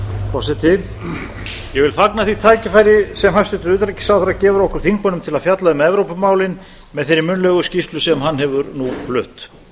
forseti ég fagna því tækifæri sem hæstvirtur utanríkisráðherra gefur okkur þingmönnum til að fjalla um evrópumálin með þeirri munnlegu skýrslu sem hann hefur nú flutt